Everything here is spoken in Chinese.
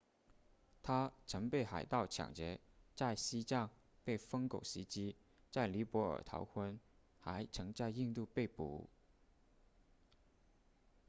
他曾被海盗抢劫在西藏被疯狗袭击在尼泊尔逃婚还曾在印度被捕